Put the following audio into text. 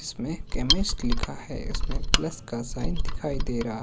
इसमें केमिस्ट लिखा है इसमें प्लस का साइन दिखाई दे रहा--